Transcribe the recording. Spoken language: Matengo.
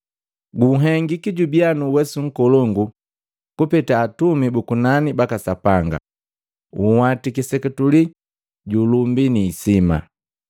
Gunhengiki jubia nuuwesu nkolongu kupeta atumi bu kunani baka Sapanga; unhwatiki seketule ju ulumbi ni hisima,